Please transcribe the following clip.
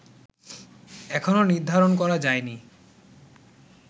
এখনও নির্ধারণ করা যায়নি